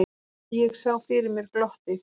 Ég sá fyrir mér glottið.